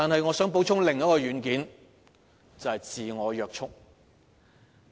我想補充另一個軟件，即自我約束。